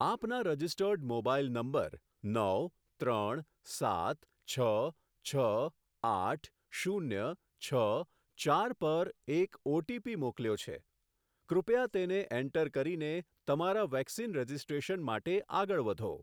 આપના registered mobile number નવ ત્રણ સાત છ છ આઠ શૂન્ય છ ચાર પર એક ઓટીપી મોકલ્યો છે, કૃપયા તેને એન્ટર કરીને તમારા વેક્સિન રજિસ્ટ્રેશન માટે આગળ વધો.